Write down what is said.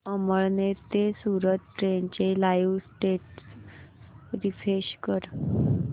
अमळनेर ते सूरत ट्रेन चे live status refresh कर